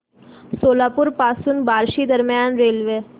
सोलापूर पासून बार्शी दरम्यान रेल्वे